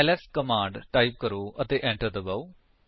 LS command type ਕਰੋ ਅਤੇ enter ਦਬਾਓ